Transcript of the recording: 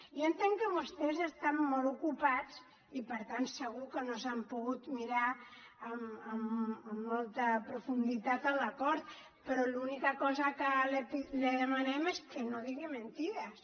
jo entenc que vostès estan molt ocupats i per tant segur que no s’han pogut mirar amb molta profunditat l’acord però l’única cosa que li demanem és que no digui mentides